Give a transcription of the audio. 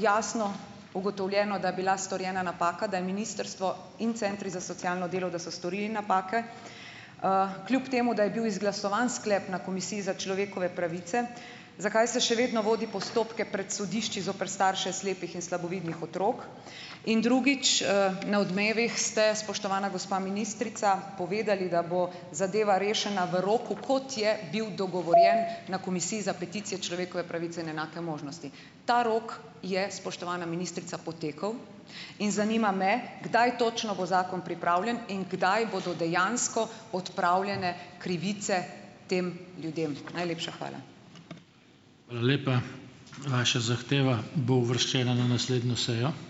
jasno ugotovljeno, da je bila storjena napaka, da je ministrstvo in centri za socialno delo, da so storili napake, kljub temu da je bil izglasovan sklep na Komisiji za človekove pravice, zakaj se še vedno vodi postopke pred sodišči zoper starše slepih in slabovidnih otrok. In drugič, Na Odmevih ste spoštovana gospa ministrica povedali, da bo zadeva rešena v roku, kot je bil dogovorjen na Komisiji za peticije, človekove pravice in enake možnosti. Ta rok je, spoštovana ministrica, potekel in zanima me, kdaj točno bo zakon pripravljen in kdaj bodo dejansko odpravljene krivice tem ljudem? Najlepša hvala.